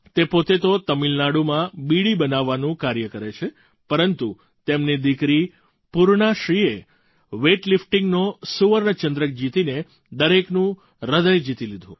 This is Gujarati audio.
તે પોતે તો તમિલનાડુમાં બીડી બનાવવાનું કાર્ય કરે છે પરંતુ તેમની દીકરી પૂર્ણાશ્રીએ વેઇટ લિફ્ટિંગનો સુવર્ણ ચંદ્રક જીતીને દરેકનું હૃદય જીતી લીધું